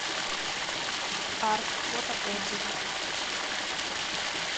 арт фото отзывы